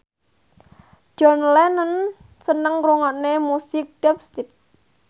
John Lennon seneng ngrungokne musik dubstep